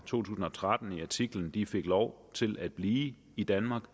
tusind og tretten i artiklen de fik lov til at blive i danmark